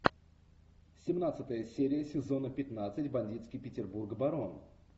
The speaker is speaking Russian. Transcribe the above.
семнадцатая серия сезона пятнадцать бандитский петербург барон